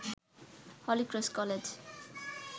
Holy Cross college